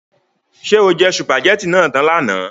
Ṣé o jẹ sùpàgétì náà tán lánàá?